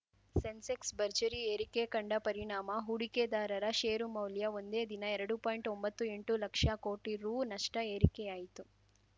ಸೆನ್ಸೆಕ್ಸ್ ಭರ್ಜರಿ ಏರಿಕೆ ಕಂಡ ಪರಿಣಾಮ ಹೂಡಿಕೆದಾರರ ಷೇರುಮೌಲ್ಯ ಒಂದೇ ದಿನ ಎರಡು ಪಾಯಿಂಟ್ಒಂಬತ್ತು ಎಂಟು ಲಕ್ಷ ಕೋಟಿ ರುನಷ್ಟ ಏರಿಕೆಯಾಯಿತು